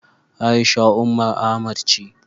A'isha Umar Ahmad ce.